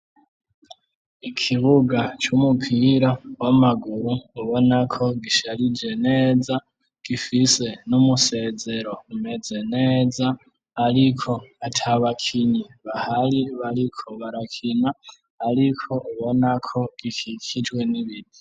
Ikibuga c'umupira w'amaguru ubona ko gisharije neza gifise n'umusezero umeze neza ariko atabakinyi bahari bariko barakina ariko ubona ko gikikijwe n'ibiti.